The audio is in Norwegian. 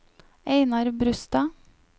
Einar Brustad